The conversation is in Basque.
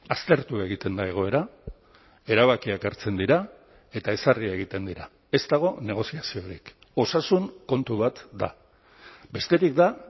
aztertu egiten da egoera erabakiak hartzen dira eta ezarri egiten dira ez dago negoziaziorik osasun kontu bat da besterik da